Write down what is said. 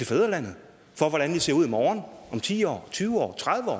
fædrelandet ser ud i morgen om ti år om tyve år om tredive år